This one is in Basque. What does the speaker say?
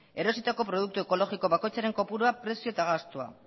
erositako produktu ekologiko bakoitzaren kopurua prezioa eta gastua